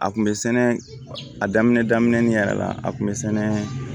A kun bɛ sɛnɛ a daminɛ daminɛ ni yɛrɛ la a kun bɛ sɛnɛ